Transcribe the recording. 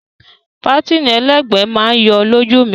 Pátìnì ẹlẹ́gbẹ̀ẹ́ máa yọ lójú mi gan.